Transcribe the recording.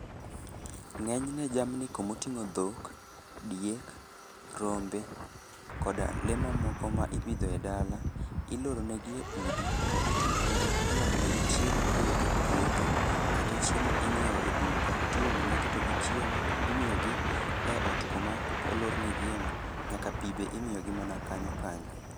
Ng'enyne jamni komoting'o dhok, diek , rombe koda lee mamoko ma ipidho e dala iloronegi e udi to iomonegi chiemo kowuok e puothe kata chiemo inyieo e duka tiomonegi to gichiemo imiyogi e ot koma olornegieno nyaka pi be imiyogi mana kanyo kanyo.